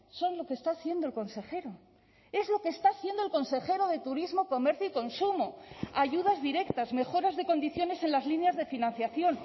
son lo que está haciendo el consejero es lo que está haciendo el consejero de turismo comercio y consumo ayudas directas mejoras de condiciones en las líneas de financiación